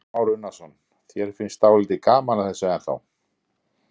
Kristján Már Unnarsson: Þér finnst dálítið gaman að þessu ennþá?